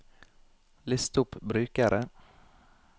list opp brukere